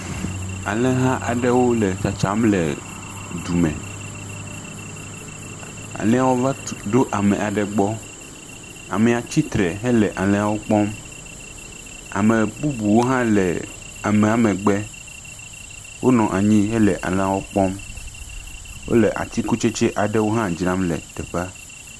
Alẽha aɖewo le tsatsam dume. Alẽha va tu ɖo ame aɖe gbɔ. Amea tsi tre hele alẽawo kpɔm. ame bubuwo hã le amea megbe. Wonɔ anyi hele alẽawo kpɔm. wole atikutsetse aɖewo hã dzra le teƒea.